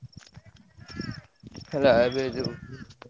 ହେଲା ଏବେ ଯୋଉ।